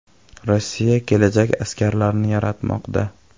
Rossiya kelajak askarlarini yaratmoqda.